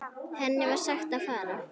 Henni var sagt að fara.